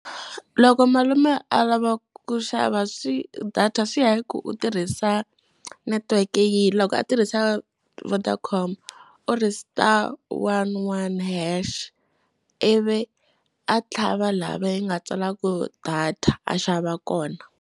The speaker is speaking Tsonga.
Loko malume a lava ku xava swi data swi ya hi ku u tirhisa network-e yihi. Loko a tirhisa Vodacom, u ri star one one hash, ivi a tlhava laha va yi nga tsala ku data a xava kona.